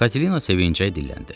Katelina sevinclə dilləndi.